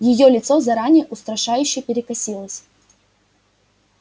её лицо заранее устрашающе перекосилось